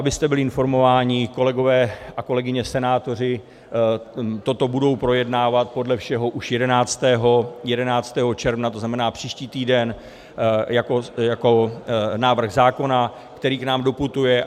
Abyste byli informováni, kolegové a kolegyně senátoři toto budou projednávat podle všeho už 11. června, to znamená příští týden, jako návrh zákona, který k nám doputuje.